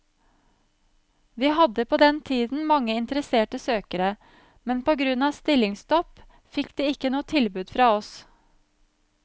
Vi hadde på den tiden mange interesserte søkere, men på grunn av stillingsstopp fikk de ikke noe tilbud fra oss.